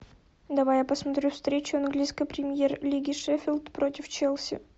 давай я посмотрю встречу английской премьер лиги шеффилд против челси